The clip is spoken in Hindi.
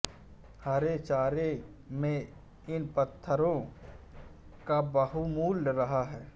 हरे चारे में इन पदार्थो का बाहुल्य रहता है